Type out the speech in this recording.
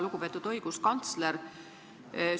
Lugupeetud õiguskantsler!